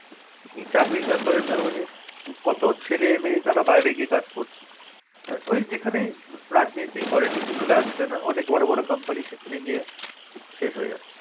এই চাকরির ব্যাপারে না মানে, কত ছেলে মেয়ে তারা বাইরে গিয়ে কাজ করছে। আর ঐ যেখানে রাজনীতি politic চলে আসবে না? অনেক বড় বড় company সেখানে গিয়ে শেষ হয়ে যাচ্ছে।